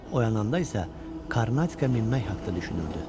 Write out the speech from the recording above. Oyananda isə Karnatikə minmək haqda düşünürdü.